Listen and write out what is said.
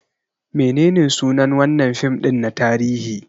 Menene sunan wannan fim din na tarihi?